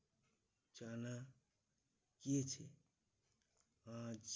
জানা গিয়েছে আজ